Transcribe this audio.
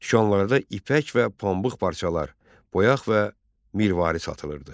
Dükanlarda ipək və pambıq parçalar, boyaq və mirvari satılırdı.